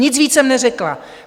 Nic víc jsem neřekla.